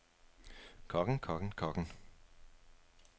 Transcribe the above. kokken kokken kokken